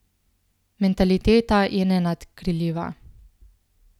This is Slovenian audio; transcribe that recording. Mentaliteta je nenadkriljiva.